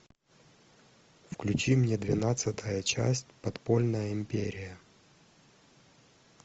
включи мне двенадцатая часть подпольная империя